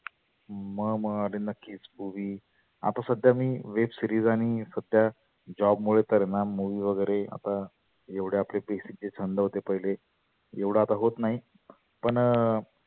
मग मग आरे नक्कीच movie आता सध्या मी web series आणि सुट्ट्या job मुळे तर आहेना movie वगैरे आता एवढ्या आपले basic जे छंद होते आपले एवढ आता होत नाही. पण